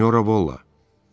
Sinyora Volla!